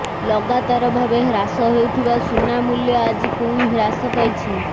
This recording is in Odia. ଲଗାତର ଭାବେ ହ୍ରାସ ହେଉଥିବା ସୁନା ମୂଲ୍ୟ ଆଜି ପୁଣି ହ୍ରାସ ପାଇଛି